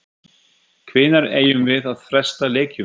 Hvenær eigum við að fresta leikjum?